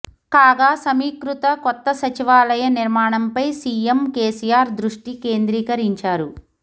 కాగా సమీకృత కొత్త సచివాలయ నిర్మాణంపై సీఎం కేసీఆర్ దృష్టి కేంద్రీకరించారు